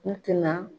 U tɛna